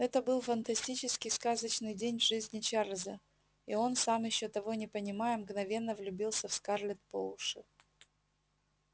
это был фантастический сказочный день в жизни чарлза и он сам ещё того не понимая мгновенно влюбился в скарлетт по уши